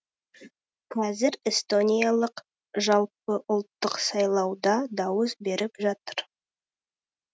қазір эстониялықтар жалпыұлттық сайлауда дауыс беріп жатыр